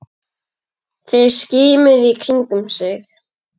Þeir skimuðu í kringum sig.